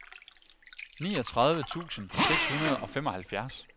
niogtredive tusind seks hundrede og femoghalvfjerds